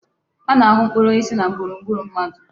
A na-ahụ mkpụrụ osisi na gburugburu mmadụ.